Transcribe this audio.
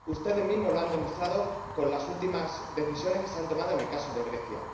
Ustedes mismos lo han demostrado con las últimas decisiones que se han tomado en el caso de Grecia.